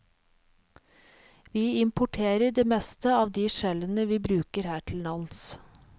Vi importerer det meste av de skjellene vi bruker her til lands.